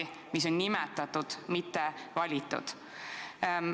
Nad on ametisse nimetatud, mitte valitud.